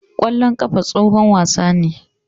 Ƙwallon ƙafa tsohon wasa ne.